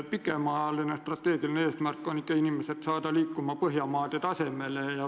Kaugem strateegiline eesmärk on ikkagi saada inimesed liikuma Põhjamaade tasemel.